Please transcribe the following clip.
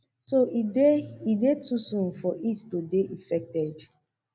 so e dey e dey too soon for it to dey effected